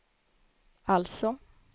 alltså